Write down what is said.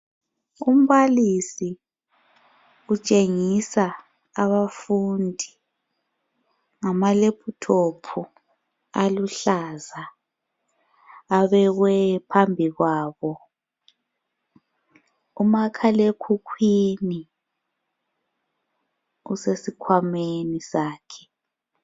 Umbalisi utshengisa abafundi ngamalephuthophu aluhlaza abekwe phambi kwabo. Umakhalekhukhwini usesikhwameni sakhe.